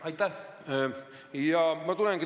Aitäh!